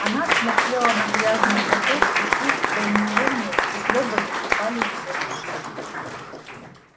она смотрела на грязный платок и чувство унижения и злоба закипали в её душе